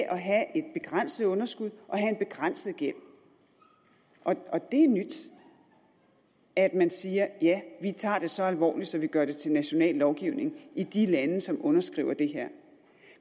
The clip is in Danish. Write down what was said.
at have et begrænset underskud og have en begrænset gæld og det er nyt at man siger ja vi tager det så alvorligt at vi gør det til national lovgivning i de lande som underskriver det her